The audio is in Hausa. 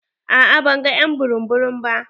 A'a ban gan ƴ'an burum-burum ba.